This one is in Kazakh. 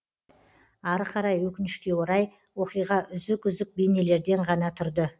ары қарай өкінішке орай оқиға үзік үзік бейнелерден ғана тұрды